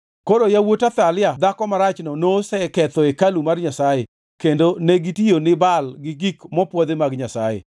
Koro yawuot Athalia dhako marachno noseketho hekalu mar Nyasaye kendo negitiyo ni Baal gi gik mopwodhi mag Nyasaye.